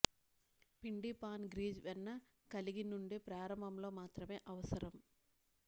పిండి pan grease వెన్న కలిగి నుండి ప్రారంభంలో మాత్రమే అవసరం